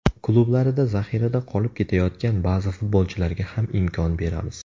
Klublarida zaxirada qolib ketayotgan ba’zi futbolchilarga ham imkon beramiz.